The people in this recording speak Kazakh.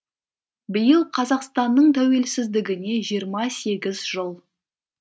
биыл қазақстанның тәуелсіздігіне жиырма сегіз жыл